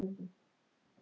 Þarf eitthvað annað?